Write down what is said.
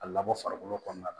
A labɔ farikolo kɔnɔna na